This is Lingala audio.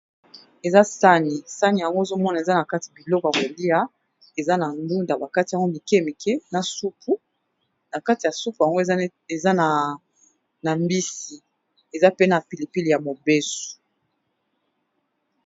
Eza sani, sani yango ozo mona eza na kati biloko ya kolia eza na ndunda ba kati yango mike mike na soupu. Na kati ya soupu yango eza na mbisi, eza pe na pili pili ya mobesu.